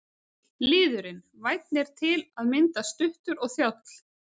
Liðurinn- vænn er til að mynda stuttur og þjáll.